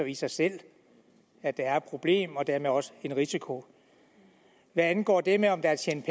i sig selv at der er et problem og dermed også en risiko hvad angår det med om der er tjent